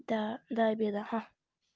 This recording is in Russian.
да до обеда ага